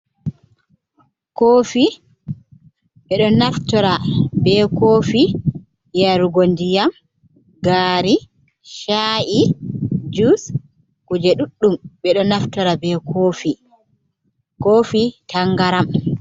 Kofi bedo naftora be kofi yarugo ndiyam gari chai jus, kuje duɗdum bedo naftora be kofi tangaram.